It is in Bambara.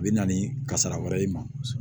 A bɛ na ni kasara wɛrɛ ye